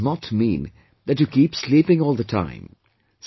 But this does not mean that you keep sleeping all the time